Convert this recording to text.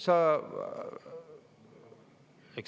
Ma veel kord ütlen …